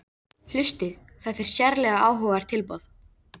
Hlustið: þetta er sérlega áhugavert tilboð